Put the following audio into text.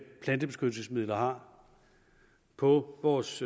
plantebeskyttelsesmidler har på vores